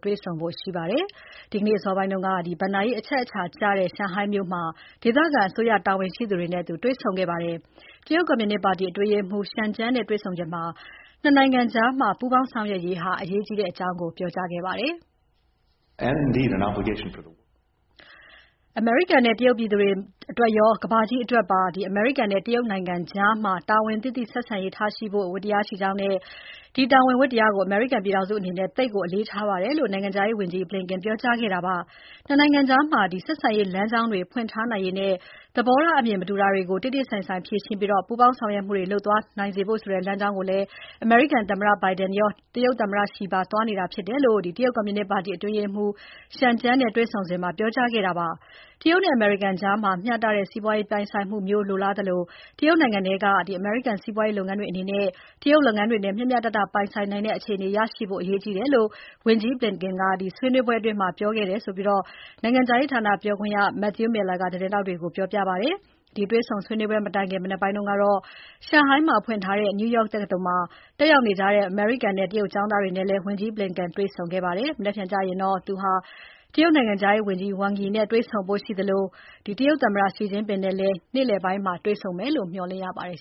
တွေ့ဆုံဖို့ ရှိပါတယ်။ ဒီနေ့အစောပိုင်းကတော့ ဘဏ္ဍာရေးအရအချက်အခြာကျတဲ့ ရှန်ဟိုင်းမြို့မှာ ဒေသအစိုးရတာဝန်ရှိသူတွေနဲ့ တွေ့ဆုံခဲ့ပါတယ်။ တရုတ်ကွန်မြူနစ်ပါတီအတွင်းရေးမှူး Chen Jiang (ချန်ကျန်း) နဲ့တွေ့ဆုံစဉ် ၂ နိုင်ငံကြား ပူးပေါင်းဆက်ဆံရေးဟာ အရေးကြီးကြောင်း ပြောကြားခဲ့ပါတယ်။ "အမေရိကန်နဲ့ တရုတ်ပြည်သူတွေအတွက်ရော ကမ္ဘာကြီးအတွက်ပါ အမေရိကန်နဲ့ တရုတ်နိုင်ငံကြား တာဝန်သိသိဆက်ဆံရေးထားရှိဖို့ ဝတ္တရားရှိကြောင်းနဲ့ ဒီတာဝန် ဝတ္တရားကို အမေရိကန်ပြည်ထောင်စုအနေနဲ့ သိပ်ကို အလေးအနက်ထားပါတယ်" လို့ နိုင်ငံခြားရေးဝန်ကြီး Blinken ပြောကြားခဲ့တာဖြစ်ပါတယ်။ ၂ နိုင်ငံကြား ဆက်ဆံရေးလမ်းကြောင်းတွေ ဖွင့်ထားနိုင်ရေးနဲ့ သဘောထားအမြင် မတူတာတွေကို တေ့တေ့ဆိုင်ဆိုင် ဖြေရှင်းပြီး ပူးပေါင်းဆောင်ရွက်မှုတွေ လုပ်သွားနိုင်စေဖို့ဆိုတဲ့ လမ်းကြောင်းကို အမေရိကန်သမ္မတ Biden ရော တရုတ်သမ္မတ Xi ပါသွားနေတာြဖစ်ပါတယ်လို့ တရုတ်ကွန်မြူနစ်ပါတီ အတွင်းရေးမှူး Chen Jiang နဲ့တွေ့ဆုံစဉ်မှာ ပြောကြားခဲ့တာဖြစ်ပါတယ်။ တရုတ်နဲ့ အမေရိကန်ကြား မျှတတဲ့ စီးပွားပြိုင်ဆိုင်မှုမျိုးလိုလားသလို တရုတ်နိုင်ငံထဲက အမေရိကန်စီးပွားရေးလုပ်ငန်းတွေအနေနဲ့ တရုတ်လုပ်ငန်းတွေနဲ့ မျှမျှတတ ပြိုင်ဆိုင်နိုင်တဲ့ အခြေအနေရရှိဖို့ အရေးကြီးကြောင်း ဝန်ကြီး Blinken က ဆွေးနွေပွဲအတွင်း အလေးထား ပြောခဲ့တယ်လို့ နိုင်ငံခြားရေးဌာပြောခွင့်ရ Matthew Miller ကသတင်းထောက်တွေကို ပြောပါတယ်။ ဒီတွေ့ဆုံပွဲ မတိုင်ခင် မနက်ပိုင်းက ရှန်ဟိုင်းမှာဖွင့်ထားတဲ့ New York တက္ကသိုလ်မှာ တက်ရောက်နေကြတဲ့ အမေရိကန်နဲ့ တရုတ်ကျောင်းသားတွေနဲ့လည်း ဝန်ကြီး Blinken တွေ့ဆုံ ဆွေးနွေးပွဲလုပ်ခဲ့ပါတယ်။ မနက်ဖြန်ကျရင်တော့ ဝန်ကြီး Blinken ဟာ တရုတ်နိုင်ငံခြားရေးဝန်ကြီး Wang Yi နဲ့တွေ့ဆုံဖို့ ရှိသလို သမ္မတ Xi Jinping နဲ့လည်း သောကြာနေ့ နေ့လည်ပိုင်းမှာ တွေ့ဆုံမယ်လို့ မျှော်လင့်ရပါတယ်